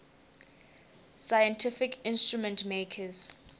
scientific instrument makers